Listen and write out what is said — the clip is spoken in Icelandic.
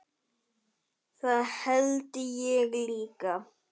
Það held ég líka